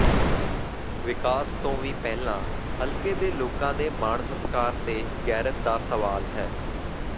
ਵਿਕਾਸ ਤੋਂ ਵੀ ਪਹਿਲਾਂ ਹਲਕੇ ਦੇ ਲੋਕਾਂ ਦੇ ਮਾਣ ਸਤਿਕਾਰ ਤੇ ਗੈਰਤ ਦਾ ਸਵਾਲ ਹੈ